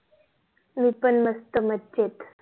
मी पण मस्त मजेत